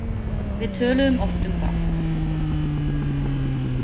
Við töluðum oft um það.